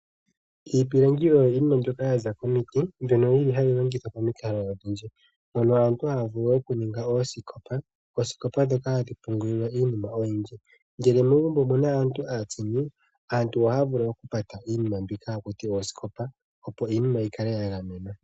Iipilangi oyo yimwe mbyoka yaza komiti, mbyono yili hayi longithwa pomikalo odhindji mono aantu haya vulu okuninga oosikopa, oosikopa ndhoka hadhi pungulilwa iinima oyindji. Ngele megumbo omuna aantu aatsini, aantu ohaya vulu okupata iinima mbika hakutiwa oosikopa, opo iinima yikale yagamenwa.